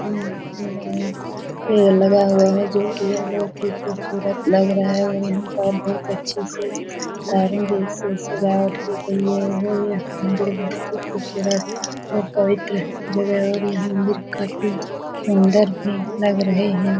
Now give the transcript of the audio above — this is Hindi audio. पेड़ लगा हुआ है जो की यह बहुत ही खूबसूरत लग रहा है और यह पर बहुत अच्छे से सजावट की गयी है और यह मंदिर बहुत ही खूबसूरत और पवित्र जगह है और यह मंदिर काफी सुंदर भी लग रहे हैं ।